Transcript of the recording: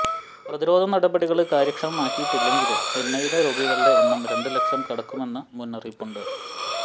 പ്രതിരോധ നടപടികള് കാര്യക്ഷമമാക്കിയിട്ടില്ലെങ്കില് ചെന്നൈയിലെ രോഗികളുടെ എണ്ണം രണ്ട് ലക്ഷം കടക്കുമെന്ന മുന്നറിയിപ്പുണ്ട്